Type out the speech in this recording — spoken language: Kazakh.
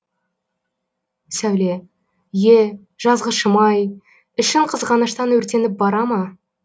сәуле е жазғышым ай ішің қызғаныштан өртеніп бара ма